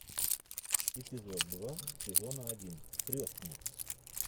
эпизод два сезона один крестный